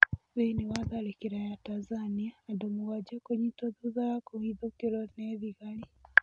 Thĩiniĩ wa tharĩkĩro ya Tanzania, andũmũgwanja kũnyitwo thutha wa kũhithukĩrwo nĩ thĩgari.